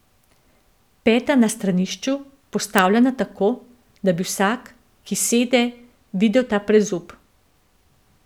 Peta na stranišču, postavljena tako, da bi vsak, ki sede, videl ta brezup.